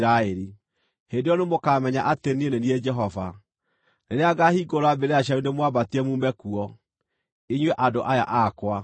Hĩndĩ ĩyo nĩmũkamenya atĩ niĩ nĩ niĩ Jehova, rĩrĩa ngaahingũra mbĩrĩra cianyu ndĩmwambatie muume kuo, inyuĩ andũ aya akwa.